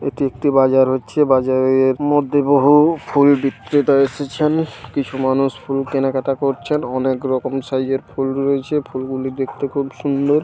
এটি একটি বাজার হচ্ছে বাজারের মধ্যে বহু-উ ফুল বিক্রেতা এসেছেন। কিছু মানুষ ফুল কেনাকাটা করছেন। অনেক রকম সাইজের ফুল রয়েছে। ফুলগুলি দেখতে খুব সুন্দর।